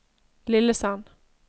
Lillesand